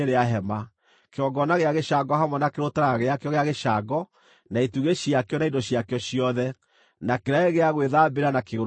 kĩgongona gĩa gĩcango hamwe na kĩrũtara gĩakĩo gĩa gĩcango na itugĩ ciakĩo na indo ciakĩo ciothe; na kĩraĩ gĩa gwĩthambĩra na kĩgũrũ gĩakĩo;